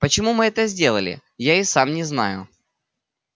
почему мы это сделали я и сам не знаю